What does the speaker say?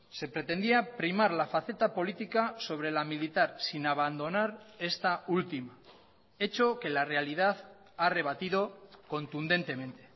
se pretendía primar la faceta política sobre la militar sin abandonar esta última hecho que la realidad ha rebatido contundentemente